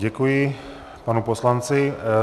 Děkuji panu poslanci.